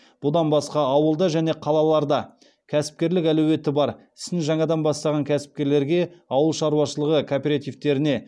бұдан басқа ауылда және қалаларда кәсіпкерлік әлеуеті бар ісін жаңадан бастаған кәсіпкерлерге ауыл шаруашылығы кооперативтеріне